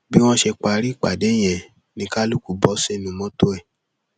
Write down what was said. bí wọn ṣe parí ìpàdé yẹn ni kálukú bọ sínú mọtò ẹ